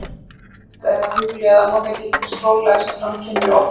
Forvitnilegt er að hugleiða notagildi þess fróðleiks sem fram kemur í Odda tölu.